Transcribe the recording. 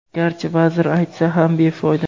garchi vazir aytsa ham befoyda.